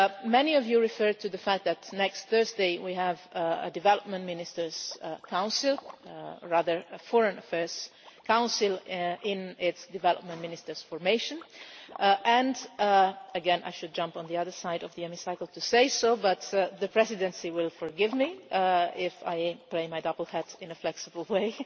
Many of you referred to the fact that next Thursday we have a Development Ministers Council, or rather a Foreign Affairs Council, in its development ministers formation, and once again I should jump to the other side of the Hemicycle to say so, but the Presidency will forgive me if I play my double hat in a flexible